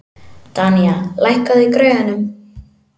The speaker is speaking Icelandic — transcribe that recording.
Danía, lækkaðu í græjunum.